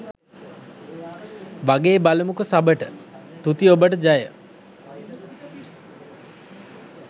වගෙ බලමුකො සබට තුති ඔබට ජය.